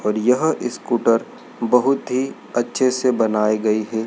और यहां स्कूटर बहोत ही अच्छे से बनाई गई हैं।